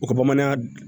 U ka bamananya